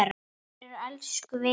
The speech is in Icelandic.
Allir eru elsku vinir.